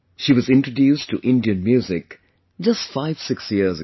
She was introduced to Indian music just 56 years ago